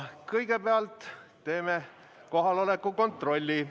Kõigepealt teeme kohaloleku kontrolli.